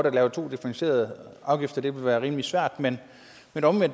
at lave to differentierede afgifter ville være rimelig svært men